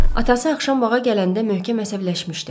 Atası axşam bağa gələndə möhkəm əsəbləşmişdi.